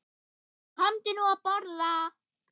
Komdu nú að borða